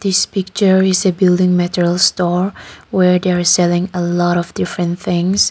this picture is a building material store where they are selling a lot of different things.